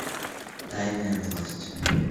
тайная власть